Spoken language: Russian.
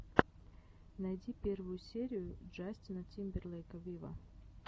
найди первую серию джастина тимберлейка виво